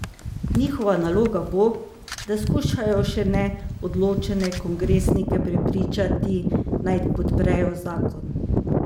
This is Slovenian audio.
Njihova naloga bo, da skušajo še neodločene kongresnike prepričati, naj podprejo zakon.